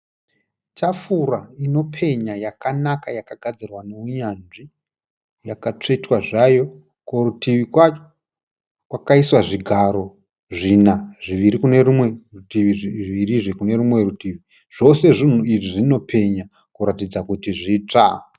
Tafura inopenya yakanaka yakagadzirwa neunyanzvi yakatsvetwa zvayo. Kurutivi kwacho kwakaiswa zvigaro zvina, zviviri kune rumwe rutivi, zvivirizve kune rumwe rutivi. Zvose zvinhu izvi zvinopenya kuratidza kuti zvitsva.